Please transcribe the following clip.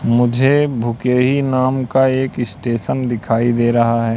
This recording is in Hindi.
मुझे भूखेरी नाम का एक स्टेशन दिखाई दे रहा है।